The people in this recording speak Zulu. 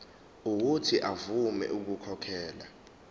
uuthi avume ukukhokhela